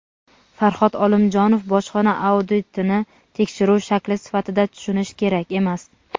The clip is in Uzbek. Farhod Olimjonov: Bojxona auditini tekshiruv shakli sifatida tushunish kerak emas.